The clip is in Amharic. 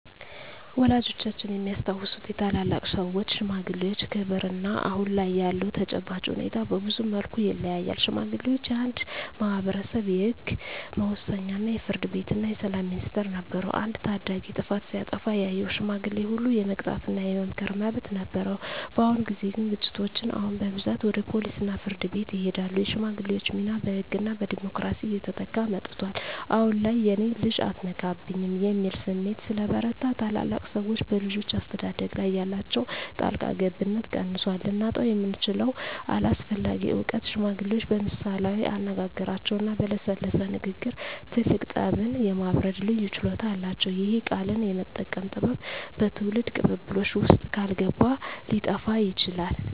ወላጆቻችን የሚያስታውሱት የታላላቅ ሰዎች (ሽማግሌዎች) ክብርና አሁን ላይ ያለው ተጨባጭ ሁኔታ በብዙ መልኩ ይለያያል። ሽማግሌዎች የአንድ ማኅበረሰብ የሕግ መወሰኛ፣ የፍርድ ቤትና የሰላም ሚኒስቴር ነበሩ። አንድ ታዳጊ ጥፋት ሲያጠፋ ያየው ሽማግሌ ሁሉ የመቅጣትና የመምከር መብት ነበረው። በአሁን ጊዜ ግን ግጭቶች አሁን በብዛት ወደ ፖሊስና ፍርድ ቤት ይሄዳሉ። የሽማግሌዎች ሚና በሕግና በቢሮክራሲ እየተተካ መጥቷል። አሁን ላይ "የእኔን ልጅ አትነካብኝ" የሚል ስሜት ስለበረታ፣ ታላላቅ ሰዎች በልጆች አስተዳደግ ላይ ያላቸው ጣልቃ ገብነት ቀንሷል። ልናጣው የምንችለው አስፈላጊ እውቀት ሽማግሌዎች በምሳሌያዊ አነጋገሮችና በለሰለሰ ንግግር ትልቅ ጠብን የማብረድ ልዩ ችሎታ አላቸው። ይህ "ቃልን የመጠቀም ጥበብ" በትውልድ ቅብብሎሽ ውስጥ ካልገባ ሊጠፋ ይችላል።